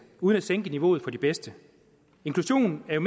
uden at sænke niveauet for de bedste inklusion er